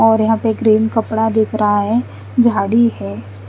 और यहा पे ग्रीन कपड़ा दिख रा है जाड़ी है।